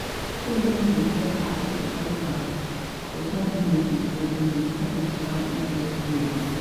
microloans dey provide access to capital for small business, but dem dey come with high interest rates.